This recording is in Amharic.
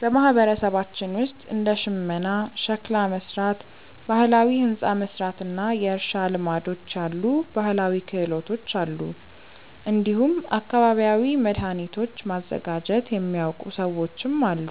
በማህበረሰባችን ውስጥ እንደ ሽመና፣ ሸክላ መሥራት፣ ባህላዊ ሕንፃ መሥራት እና የእርሻ ልማዶች ያሉ ባህላዊ ክህሎቶች አሉ። እንዲሁም አካባቢያዊ መድኃኒቶችን ማዘጋጀት የሚያውቁ ሰዎችም አሉ።